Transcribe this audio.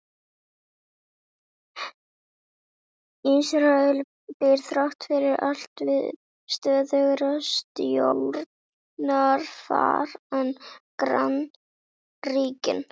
Ísrael býr þrátt fyrir allt við stöðugra stjórnarfar en grannríkin.